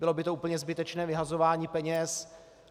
Bylo by to úplně zbytečné vyhazování peněz.